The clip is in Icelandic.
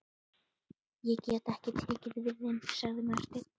Ég get ekki tekið við þeim, sagði Marteinn.